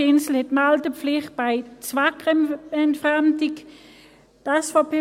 Die Insel hat die Meldepflicht bei Zweckentfremdung.